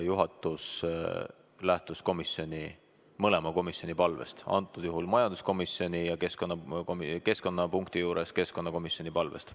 Juhatus lähtus mõlema komisjoni palvest, majanduskomisjoni ja keskkonnapunkti puhul keskkonnakomisjoni palvest.